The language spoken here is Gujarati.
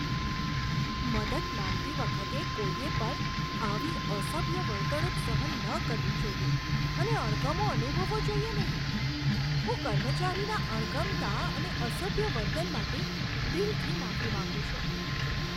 મદદ માંગતી વખતે કોઈએ પણ આવી અસભ્ય વર્તણૂક સહન ન કરવી જોઈએ અને અણગમો અનુભવવો જોઈએ નહીં. હું કર્મચારીના અણગમતા અને અસભ્ય વર્તન માટે દિલથી માફી માંગું છું.